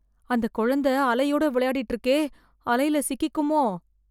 அந்த குழந்த அலையோட விளையாடிட்டு இருக்கே, அலையில சிக்கிக்குமோ?